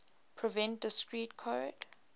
prevent discrete code